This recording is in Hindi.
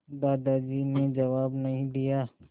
दादाजी ने जवाब नहीं दिया